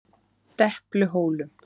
Depluhólum